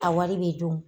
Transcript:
A wari bɛ dun